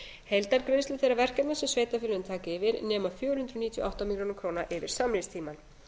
heildargreiðslur þeirra verkefna sem sveitarfélögin taka yfir nema fjögur hundruð níutíu og átta milljónir króna yfir samningstímann